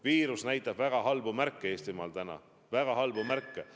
Viirus näitab täna Eestimaal väga halbu märke.